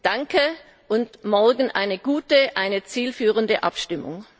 Danke, und morgen eine gute, eine zielführende Abstimmung!